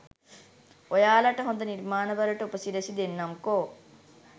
ඔයාලට හොද නිර්මාණවලට උපසිරැසි දෙන්නම්කෝ.